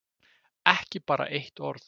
Og ekki bara eitt orð.